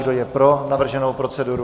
Kdo je pro navrženou proceduru?